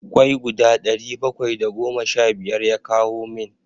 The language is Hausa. kwai guda ɗari bakwai da goma sha biyar ya kawo min.